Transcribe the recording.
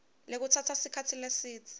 lekutsatsa sikhatsi lesidze